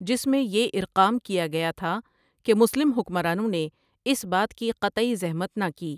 جس میں یہ اِرقام کیا گیا تھا کہ مسلم حکمرانوں نے اس بات کی قطعی زحمت نہ کی ۔